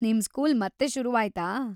ನಿಮ್ ಸ್ಕೂಲ್ ಮತ್ತೆ ಶುರುವಾಯ್ತಾ?